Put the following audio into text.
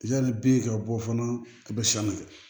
Yanni bi ka bɔ fana i bɛ siran a ma